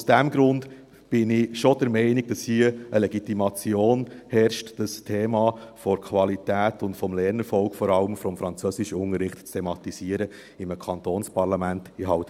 Aus diesem Grund bin ich schon der Meinung, dass hier eine Legitimation herrscht, das Thema der Qualität und vor allem des Lernerfolgs des Französischunterrichts in einem Kantonsparlament zu thematisieren.